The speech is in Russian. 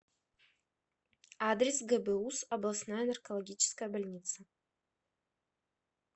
адрес гбуз областная наркологическая больница